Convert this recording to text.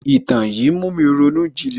Ìtàn yín ń mú mi ronú ìjìnlẹ̀